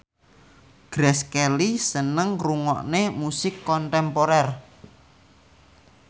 Grace Kelly seneng ngrungokne musik kontemporer